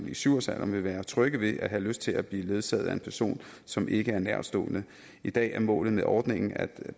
i syv års alderen vil være trygge ved og have lyst til at blive ledsaget af en person som ikke er nærtstående i dag er målet med ordningen at